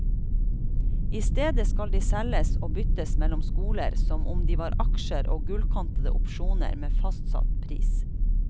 I stedet skal de selges og byttes mellom skoler som om de var aksjer og gullkantede opsjoner med fastsatt pris.